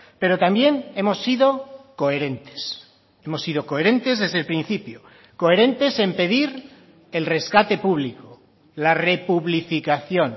pero también hemos sido coherentes hemos sido coherentes desde el principio coherentes en pedir el rescate público la republificación